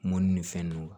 Mɔnni ni fɛn nunnu